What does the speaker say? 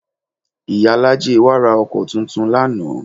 Ìyálájé wa ra ọkọ tuntun lánàá